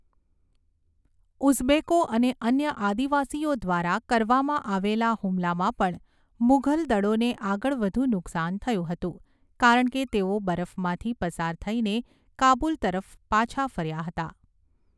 ઉઝબેકો અને અન્ય આદિવાસીઓ દ્વારા કરવામાં આવેલા હુમલામાં પણ મુઘલ દળોને આગળ વધુ નુકસાન થયું હતું કારણ કે તેઓ બરફમાંથી પસાર થઈને કાબુલ તરફ પાછા ફર્યા હતા.